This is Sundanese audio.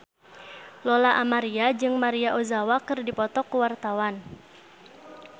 Lola Amaria jeung Maria Ozawa keur dipoto ku wartawan